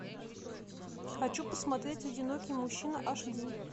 хочу посмотреть одинокий мужчина аш ди